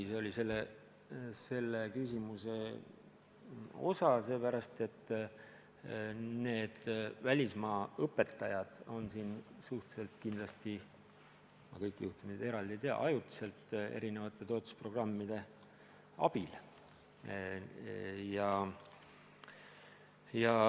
Aga need välismaa õpetajad on siin kindlasti – ma kõiki juhtumeid küll eraldi ei tea – ajutiselt erinevate toetusprogrammide raames.